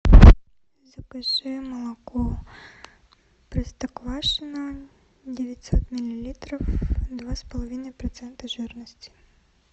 закажи молоко простоквашино девятьсот миллилитров два с половиной процента жирности